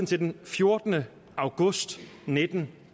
til den fjortende august nitten